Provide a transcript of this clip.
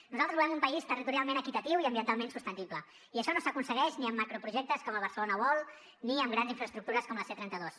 nosaltres volem un país territorialment equitatiu i ambientalment sostenible i això no s’aconsegueix ni amb macroprojectes com el barcelona world ni amb grans infraestructures com la c trenta dos